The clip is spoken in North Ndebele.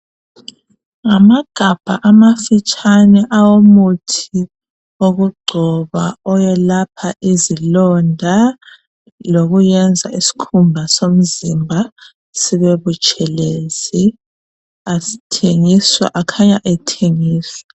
Ngamagabha amafitshane awomuthi wokugcoba owelapha izilonda lokwenza isikhumba somzimba sibe butshelezi akhanya ethengiswa.